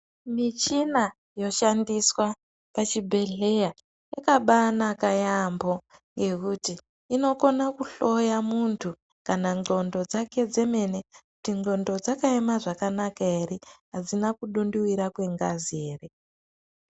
Michina yoshandiswa pachibhehleya yakabanaka yambo nekut inogona ku hloya muntu kana ingqondo dzake dzemene Kuti ingqondo dzakayema zvakanaka here adzina kudunduvira kwengazi ere.